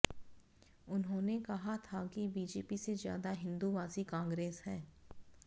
उन्होंने कहा था कि बीजेपी से ज्यादा हिंदूवादी कांग्रेस है